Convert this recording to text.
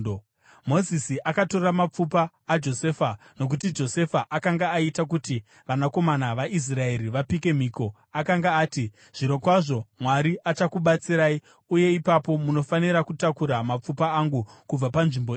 Mozisi akatora mapfupa aJosefa nokuti Josefa akanga aita kuti vanakomana vaIsraeri vapike mhiko. Akanga ati, “Zvirokwazvo Mwari achakubatsirai, uye ipapo munofanira kutakura mapfupa angu kubva panzvimbo ino.”